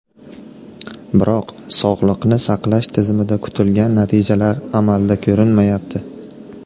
Biroq sog‘liqni saqlash tizimida kutilgan natijalar amalda ko‘rinmayapti.